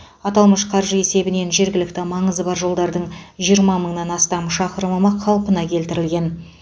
аталмыш қаржы есебінен жергілікті маңызы бар жолдардың жиырма мыңнан астам шақырымы қалпына келтірілген